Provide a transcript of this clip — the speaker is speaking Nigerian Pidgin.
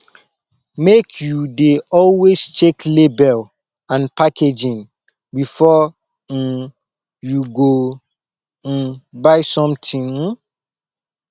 make you dey always check label and packaging before um you go um buy something um